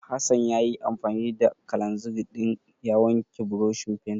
Hassan ya yi anfani da kalanzir ɗin ya wanke burushin fentin.